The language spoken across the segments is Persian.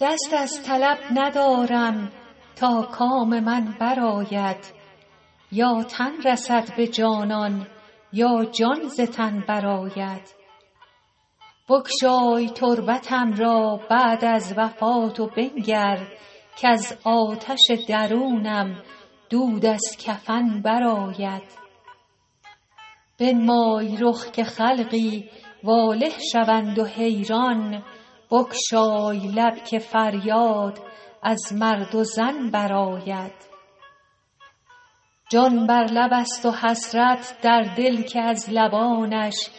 دست از طلب ندارم تا کام من برآید یا تن رسد به جانان یا جان ز تن برآید بگشای تربتم را بعد از وفات و بنگر کز آتش درونم دود از کفن برآید بنمای رخ که خلقی واله شوند و حیران بگشای لب که فریاد از مرد و زن برآید جان بر لب است و حسرت در دل که از لبانش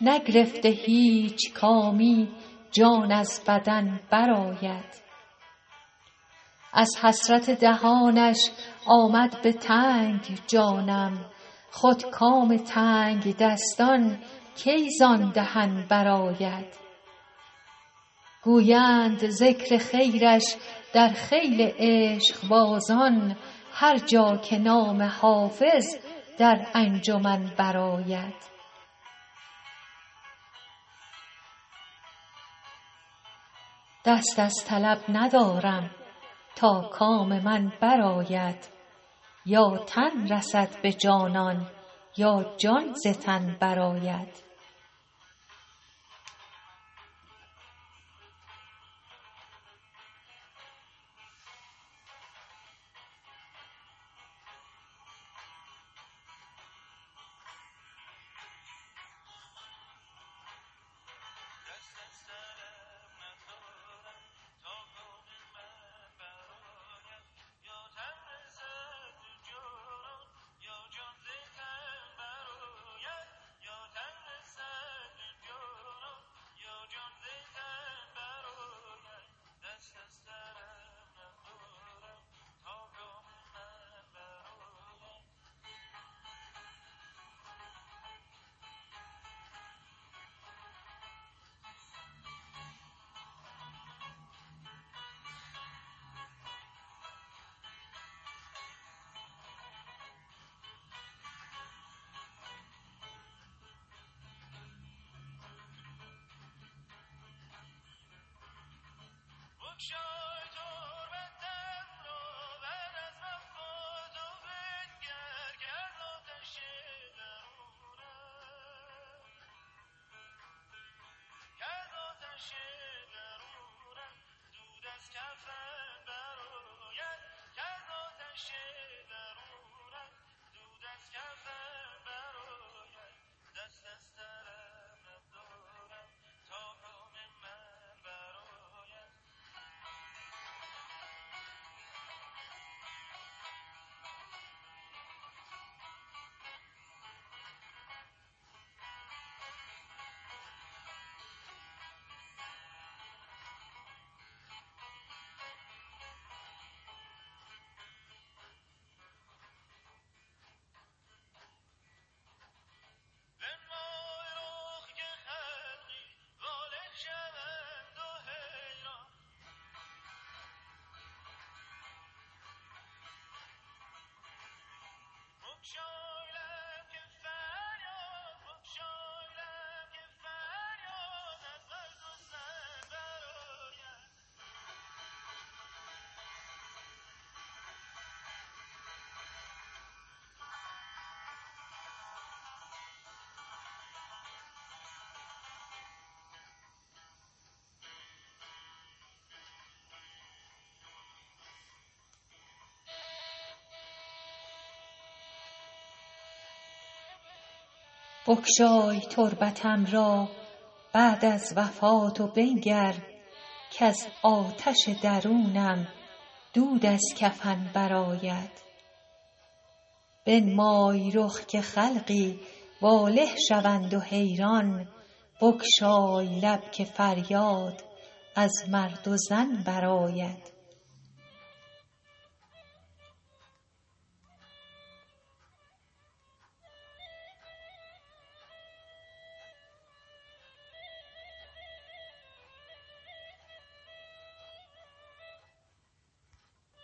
نگرفته هیچ کامی جان از بدن برآید از حسرت دهانش آمد به تنگ جانم خود کام تنگدستان کی زان دهن برآید گویند ذکر خیرش در خیل عشقبازان هر جا که نام حافظ در انجمن برآید